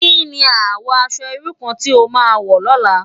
Ki ni àwò aṣò irú kàn ti ó má wò lòlá?